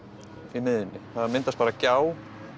í miðjunni það myndast bara gjá